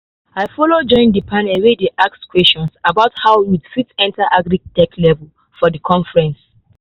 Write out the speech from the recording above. i follow join the panel wey dey ask questions about how youth fit enter agritech level for the conference.